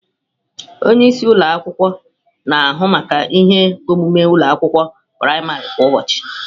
Onye isi ụlọ akwụkwọ na-ahụ maka ihe omume ụlọ akwụkwọ praịmarị kwa ụbọchị.